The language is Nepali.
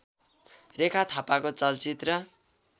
रेखा थापाको चलचित्र